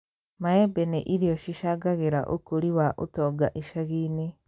Maembe nĩ irio cicangagĩra ũkũrĩ wa ũtonga icagi-inĩ